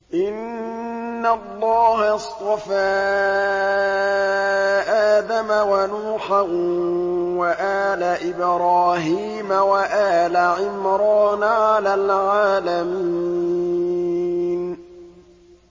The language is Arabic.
۞ إِنَّ اللَّهَ اصْطَفَىٰ آدَمَ وَنُوحًا وَآلَ إِبْرَاهِيمَ وَآلَ عِمْرَانَ عَلَى الْعَالَمِينَ